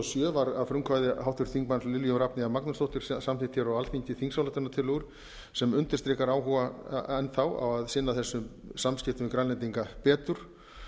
sjö var að frumkvæði háttvirtum þingmanni lilju rafneyjar magnúsdóttur samþykktar á alþingi þingsályktunartillögur sem undirstrikar áhuga á að sinna þessum samskiptum við grænlendinga betur